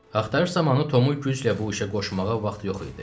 Axtarış zamanı Tomu güclə bu işə qoşmağa vaxt yox idi.